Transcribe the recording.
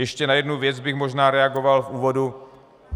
Ještě na jednu věc bych možná reagoval v úvodu.